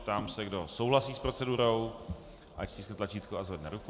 Ptám se, kdo souhlasí s procedurou, ať stiskne tlačítko a zvedne ruku.